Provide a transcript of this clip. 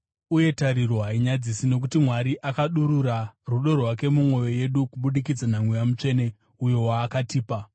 Uye tariro hainyadzisi nokuti Mwari akadurura rudo rwake mumwoyo yedu kubudikidza naMweya Mutsvene, uyo waakatipa.